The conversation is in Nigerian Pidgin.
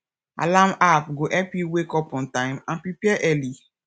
alarm app go help you wake up on time and prepare early